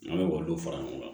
An bɛ k'olu fara ɲɔgɔn kan